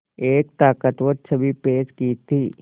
एक ताक़तवर छवि पेश की थी